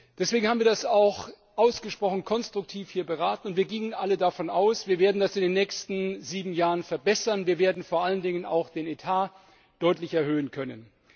Deswegen haben wir das auch ausgesprochen konstruktiv beraten und wir gingen alle davon aus, dass wir das in den nächsten sieben Jahren verbessern werden und vor allen Dingen auch den Etat deutlich erhöhen können.